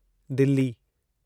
Delhi